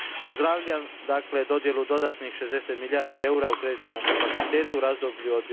Pozdravljam dakle dodjelu dodatnih 60 milijardi eura u kreditnom kapacitetu u razdoblju od